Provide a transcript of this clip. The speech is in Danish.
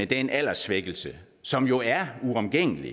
den alderssvækkelse som jo er uomgængelig